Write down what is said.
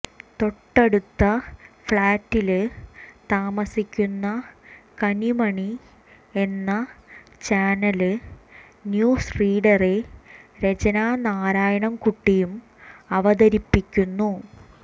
തൊട്ടടുത്ത ഫ്ലാറ്റില് താമസിക്കുന്ന കനിമണി എന്ന ചാനല് ന്യൂസ് റീഡറെ രചന നാരായണന്കുട്ടിയും അവതരിപ്പിക്കുന്നു